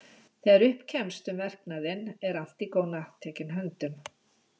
Þegar upp kemst um verknaðinn er Antígóna tekin höndum.